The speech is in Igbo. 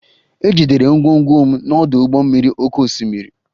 E jidere ngwongwo m n'ọdụ ụgbọ mmiri oké osimiri